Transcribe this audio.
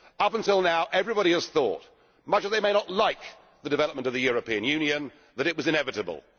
Until now everybody has thought much as they may not like the development of the European Union that it was inevitable.